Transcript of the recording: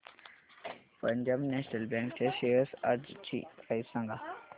Punjab national bank च्या shares आजची price सांगा